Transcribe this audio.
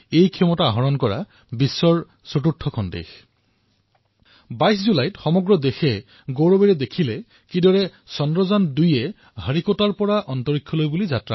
এই ক্ষমতা লাভ কৰা ভাৰত বিশ্বৰ ভিতৰতে চতুৰ্থখন দেশ আৰু এতিয়া ২২ জুলাইত সমগ্ৰ দেশে গৌৰৱেৰে প্ৰত্যক্ষ কৰিলে যে কিদৰে চন্দ্ৰায়ন ২য়ে শ্ৰীহৰিকোটাৰ পৰা মহাকাশত নিজৰ নাম সন্নিৱিষ্ট কৰিবলৈ সমৰ্থ হল